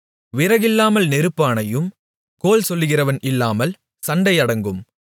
விறகில்லாமல் நெருப்பு அணையும் கோள்சொல்லுகிறவன் இல்லாமல் சண்டை அடங்கும்